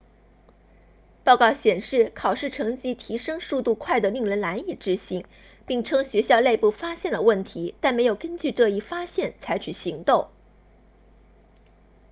报告显示考试成绩提升速度快得令人难以置信并称学校内部发现了问题但没有根据这一发现采取行动